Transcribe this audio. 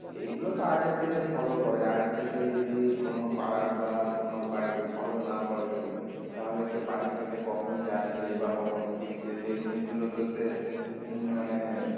এগুলো তো আগের থেকে follow করে আগের থেকে যদি কোনো পাড়ার বা কোনো বাড়িকে follow না করে কেউ তাহলে তো বাড়ির থেকে কখন যাচ্ছে বা কখন ফিরছে সেই জিনিসগুলো তো সে উম মানে